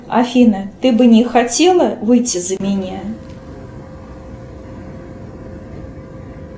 афина ты бы не хотела выйти за меня